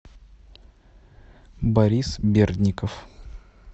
борис бердников